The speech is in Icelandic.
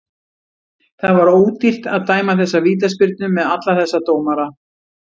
Það var ódýrt að dæma þessa vítaspyrnu með alla þessa dómara.